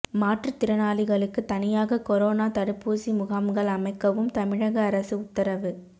மாற்றுத்திறனாளிகளுக்கு தனியாக கொரோனா தடுப்பூசி முகாம்கள் அமைக்கவும் தமிழக அரசு உத்தரவு